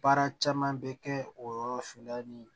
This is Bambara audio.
Baara caman bɛ kɛ o yɔrɔ fe la ni